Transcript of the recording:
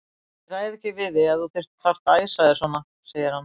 Ég ræði ekki við þig ef þú þarft að æsa þig svona, segir hann.